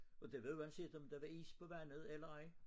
Og det var uanset om der var is på vandet eller ej